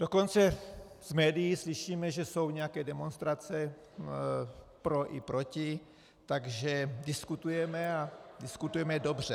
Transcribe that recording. Dokonce v médiích slyšíme, že jsou nějaké demonstrace pro i proti, takže diskutujeme, a diskutujeme dobře.